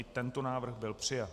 I tento návrh byl přijat.